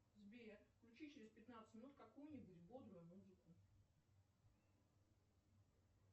сбер включи через пятнадцать минут какую нибудь бодрую музыку